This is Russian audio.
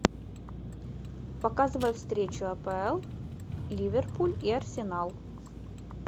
показывай встречу апл ливерпуль и арсенал